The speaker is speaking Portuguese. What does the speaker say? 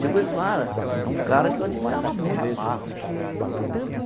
Che Guevara é um cara que eu admirava muito.